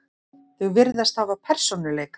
Þau virðast hafa persónuleika.